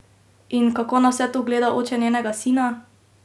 In kako na vse to gleda oče njenega sina?